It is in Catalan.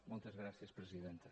moltes gràcies presidenta